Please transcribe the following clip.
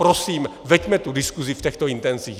Prosím, veďme tu diskusi v těchto intencích!